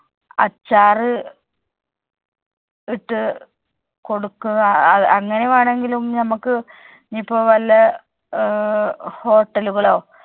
അച്ചാര് ഇട്ട് കൊടുക്കുക അങ്ങനെ വേണങ്കിലും ഞമ്മുക്ക് ഇനി ഇപ്പോവല്ല ഏർ hotel ഉകളോ